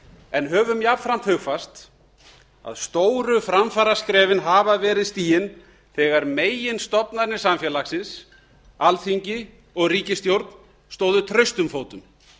en höfum jafnframt hugfast að stóru framfaraskrefin hafa verið stigin þegar meginstofnarnir samfélagsins alþingi og ríkisstjórn stóðu traustum fótum